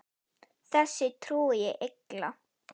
Þessu trúi ég illa.